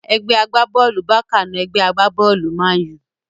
Ẹgbẹ́ agbá-bọ́ọ̀lù Bákà na ẹgbẹ́ agbá-bọ́ọ̀lù mánù